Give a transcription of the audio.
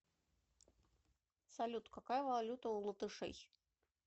салют какая валюта у латышей